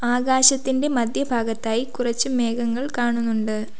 ആകാശത്തിൻ്റെ മധ്യഭാഗത്തായി കുറച്ച് മേഘങ്ങൾ കാണുന്നുണ്ട്.